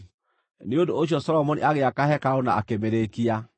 Nĩ ũndũ ũcio Solomoni agĩaka hekarũ na akĩmĩrĩkia.